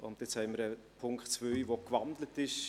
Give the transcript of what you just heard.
Nun haben wir einen Punkt 2, der gewandelt ist.